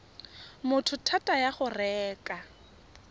motho thata ya go reka